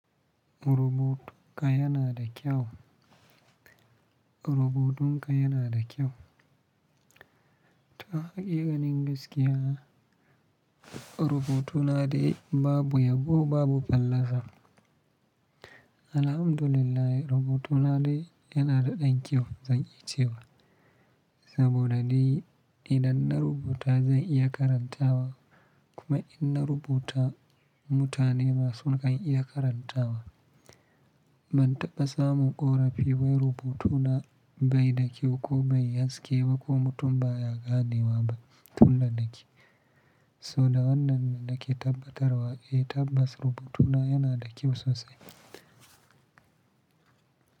Rubutunka yana da kyau. Rubutunka yana da kyau. Ta hakikanin gaskiya, rubutuna dai babu yabo babu fallaza. Alhamdulillah rubutuna dai yana da ɗan kyau zan yi cewa. Saboda dai idan na rubuta zan iya karanta wa kuma in na rubuta mutane ma su kan iya karanta wa. Ban taɓa samun ƙorafi ba wai rubutuna bai da kyau ko bayi haske ba ko mutum ba ya gane wa ba tun da na ƙi. So da wannan na ke tabbatarwa eh tabbas rubutuna yana da kyau sosai.